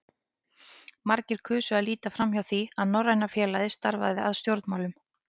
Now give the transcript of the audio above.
Margir kusu að líta framhjá því, að Norræna félagið starfaði að stjórnmálum.